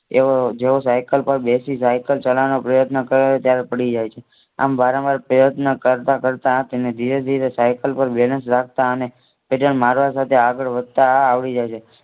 એવો જેવો સાયકલ પર બેસી સાયક ચલાવવાનો પ્રયત્ન કરે ત્યારે પડી જાય છે. આમ વારંવાર પ્રયત્ન કરતા તેને ધીરે ધીરે સાયકલ પર બેસી જતા અને પૈદલ મારવા સાથે આગળ વધવા આવડી જશે